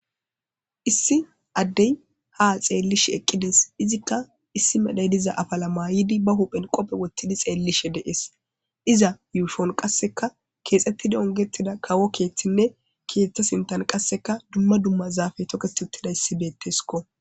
issi addey ha xeellishe eqqides. izikka issi medhoy diza afala maayidi ba huphen qope wottidi xeellishe dees. iza yushon qasseka keexxettidi ongettida kawo keeththinne keeththa sintan qasseka dumma dumma zaafe toket uttida issi beetteskko